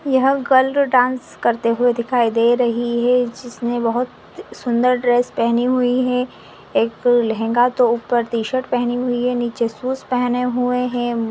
यह girl dance करते हुए दिखाई दे रही है जिसमे वह सुंदर ड्रेस पहनी हुई है एक लेहेंगा के ऊपर टी-शर्ट पहनी हुई है नीचे शूज़ पहने हुए है।